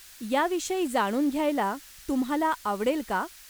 याविषयी जाणून घ्यायला तुम्हाला आवडेल का?